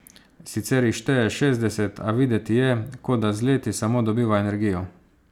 Sicer jih šteje šestdeset, a videti je, kot da z leti samo dobiva energijo.